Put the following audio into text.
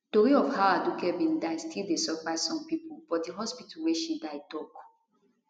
tori of how aduke bin die still dey surprise some pipo but di hospital wia she die tok